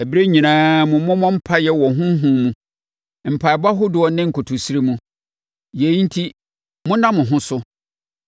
Ɛberɛ nyinaa mu mommɔ mpaeɛ wɔ Honhom mu, mpaeɛbɔ ahodoɔ ne nkotosrɛ mu. Yei enti monna mo ho so, na mommɔ mpaeɛ mma ahotefoɔ.